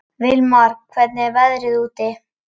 Vilmar, hvernig er veðrið úti?